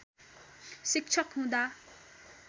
शिक्षक हुँदा